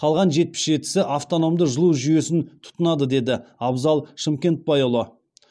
қалған жетпіс жетісі автономды жылу жүйесін тұтынады деді абзал шымкентбайұлы